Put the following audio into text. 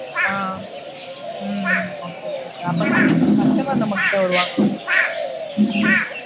ஆஹ் hmm hmm okay okay sir. அப்போதா customer நம்மக்கிட்ட வருவாங்க.